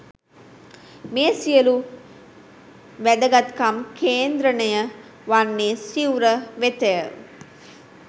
මේ සියලු වැදගත්කම් කේන්ද්‍රණය වන්නේ සිවුර වෙතය.